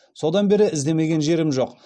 содан бері іздемеген жерім жоқ